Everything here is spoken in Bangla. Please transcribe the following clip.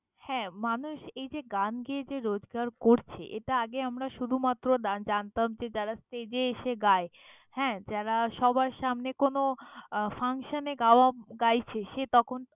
হ্যাঁ, মানুষ এই যে গান গেয়ে যে রোজগার করছে, এটা আগে আমরা শুধুমাত্র জা~ জানতাম যে যারা stage এ এসে গায়। হ্যাঁ, যারা সবার সামনে কোনো আহ function এ গা~ গাইছে।